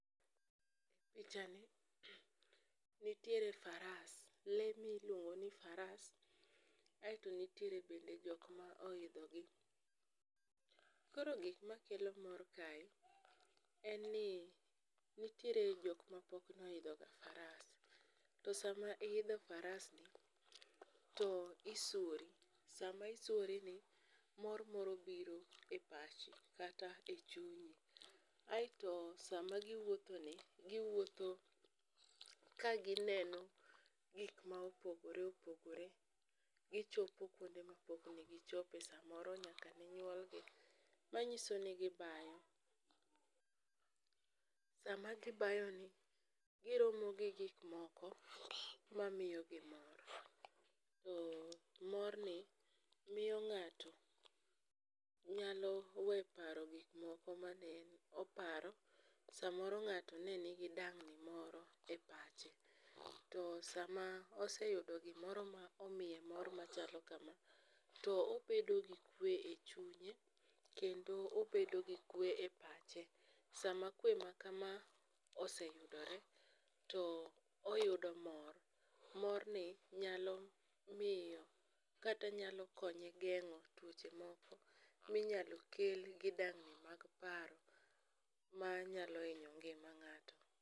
Pichani, nitiere faras, lee miluongoni faras, aeto nitiere bende jok ma oidhogi. Koro gik makelo mor kae, en ni nitiere jok ma pok noidhoga faras. To sama iidho farasni, isuori, sama isuorini, mor moro biro e pachi kata e chunyi, aeto sama giwuothoni, giwuotho ka gineno gik ma opogore opogore, gichopo kwonde mane pok negi chope samoro nyaka ne nyuolgi. Manyiso ni gibayo, sama gibayoni, giromo gi gikmoko mamiyogi mor, morni miyo ng'ato nyalo we paro gik moko mane oparo, samoro ng'ato ne nigi dang'ni moro e pache, to sama oseyudo gimoro ma omiye mor machalo kama, to obego gi kwe e chunye, kendo oebdo gi kwe e pache. Sama kwe ma kama, oseyudorw, to oyudo mor. Morni nyalo miyo kata nyalo konye geng'o tuoche moko minyalo kel gi dang'ni mag paro manyalo hinyo ngima ng'ato.